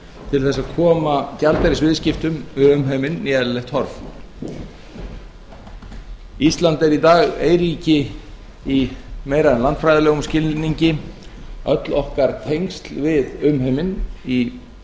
til að koma gjaldeyrisviðskiptum við umheiminn í eðlilegt horf ísland er í dag eyríki í meira en landfræðilegum skilningi öll okkar tengsl við umheiminn í